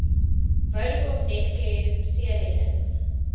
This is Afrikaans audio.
vodacom netcare seereddings